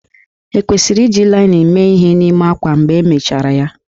Ekwesịrị iji linin mee ihe n'ime ákwá mgbe emechara ya?